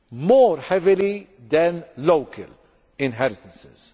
more heavily than local inheritances.